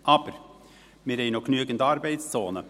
Aber: Wir haben noch genügend Arbeitszonen.